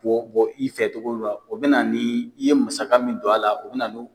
bɔ bɔ i fɛ cogo dɔ la o bɛ na ni i ye masaka min don a la o bɛ na n'o